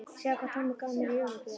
Sjáðu hvað Tommi gaf mér í jólagjöf